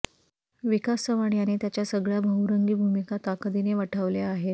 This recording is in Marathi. विकास चव्हाण याने त्याच्या सगळ्या बहुरंगी भूमिका ताकदीने वठवल्या आहेत